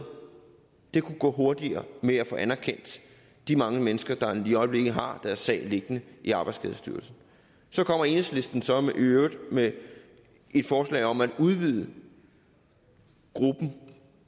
det kunne godt gå hurtigere med at få anerkendt de mange mennesker der lige i øjeblikket har deres sag liggende i arbejdsskadestyrelsen så kommer enhedslisten så i øvrigt med et forslag om at udvide gruppen